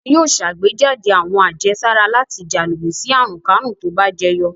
Wọn yóò ṣàgbéjáde àwọn àjẹsára láti jà lòdì sí àrùnkárùn tó bá jẹyọ.